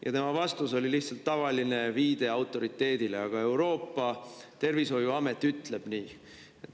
" Ja tema vastus oli lihtsalt tavaline viide autoriteedile: "Aga Euroopa tervishoiuamet ütleb nii.